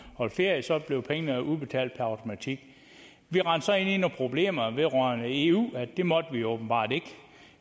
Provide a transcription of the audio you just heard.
holdt ferie så blev pengene udbetalt per automatik vi rendte så ind i nogle problemer med eu at det måtte vi åbenbart ikke